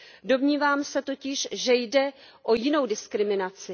Domnívám se totiž, že jde o jinou diskriminaci.